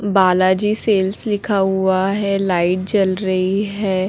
Balaji sales लिखा हुआ है लाइट जल रही है।